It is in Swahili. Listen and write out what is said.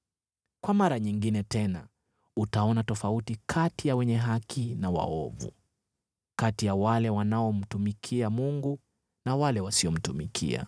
Kwa mara nyingine tena utaona tofauti kati ya wenye haki na waovu, kati ya wale wanaomtumikia Mungu na wale wasiomtumikia.